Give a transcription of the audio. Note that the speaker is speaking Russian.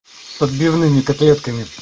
с отбивные котлетками